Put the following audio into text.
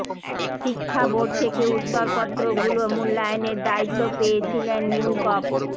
শিক্ষা বোর্ড থেকে উত্তরপত্রগুলো মূল্যায়নের দায়িত্ব পেয়েছিলেন নিউ গভ